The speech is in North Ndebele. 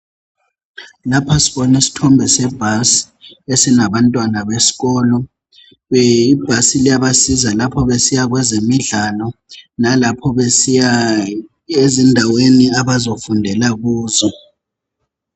Ngapha sibona isithombe sebhasi, esinabantwana besikolo. Ibhasi liyabasiza lapho besiya kwezemidlalo. Nalapho besiya ezindaweni, abazofundela kuzo.